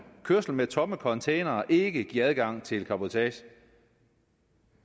kørsel med tomme containere ikke give adgang til cabotage